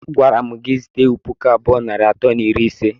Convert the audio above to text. Agwara mụ gị zụta ewụ pụkụ abụọ nari atọ na iri ise!!!!!